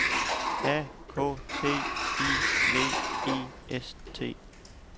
A K T I V I S T